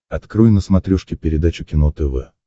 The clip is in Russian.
открой на смотрешке передачу кино тв